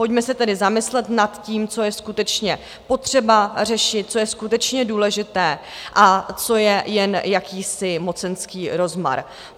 Pojďme se tedy zamyslet nad tím, co je skutečně potřeba řešit, co je skutečně důležité a co je jen jakýsi mocenský rozmar.